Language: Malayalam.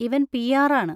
Ivan PR. ആണ്.